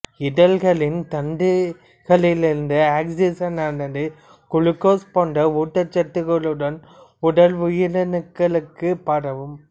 இழையங்களின் தந்துகிகளிலிருந்து ஆக்சிசனானது குளுக்கோசு போன்ற ஊட்டச் சத்துக்களோடு உடல் உயிரணுக்களுக்கு பரவும்